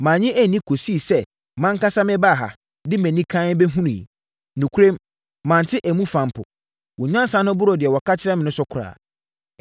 Mannye anni kɔsii sɛ mʼankasa mebaa ha, de mʼani kann bɛhunuiɛ. Nokorɛm, mante emu fa mpo. Wo nyansa no boro deɛ wɔka kyerɛɛ me no so koraa.